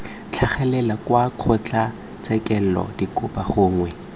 tlhagelela kwa kgotlatshekelo dikopo gongwe